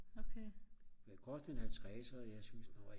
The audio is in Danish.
den kostede en 50'er og jeg synes nå ja